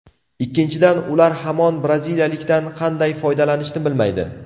Ikkinchidan, ular hamon braziliyalikdan qanday foydalanishni bilmaydi.